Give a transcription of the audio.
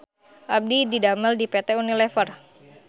Abdi didamel di PT UNILEVER